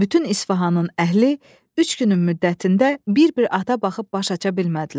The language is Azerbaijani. Bütün İsfahanın əhli üç günün müddətində bir-bir ata baxıb baş aça bilmədilər.